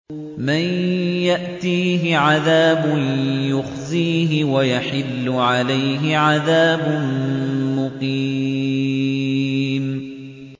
مَن يَأْتِيهِ عَذَابٌ يُخْزِيهِ وَيَحِلُّ عَلَيْهِ عَذَابٌ مُّقِيمٌ